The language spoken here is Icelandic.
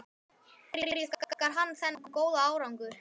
Hverju þakkar hann þennan góða árangur?